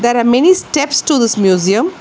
There are many steps to this museum.